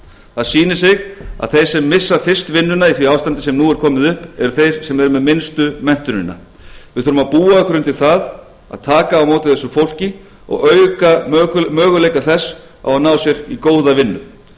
það sýnir sig að þeir sem missa fyrst vinnuna í því ástandi sem nú er komið upp eru þeir sem eru með minnstu menntunina við þurfum að búa okkur undir það að taka á móti þessu fólki og auka möguleika þess á að ná sér í góða vinnu